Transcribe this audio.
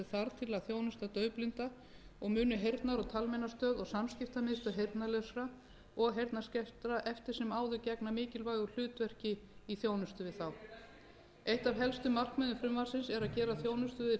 að þjónusta daufblinda og munu heyrnar og talmeinastöð og samskiptamiðstöð heyrnarlausra og heyrnarskertra eftir sem áður gegna mikilvægu hlutverki í þjónustu við þá eitt af helstu markmiðum frumvarpsins er að gera þjónustu við blinda og sjónskerta heildstæðari